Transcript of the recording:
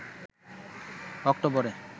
অক্টোবরে